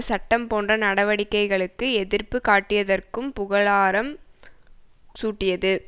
சட்டம் போன்ற நடவடிக்கைகளுக்கு எதிர்ப்பு காட்டியதற்கும் புகழாரம் சூட்டியது